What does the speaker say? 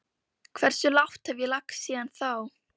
Hversu lágt hef ég lagst síðan þá?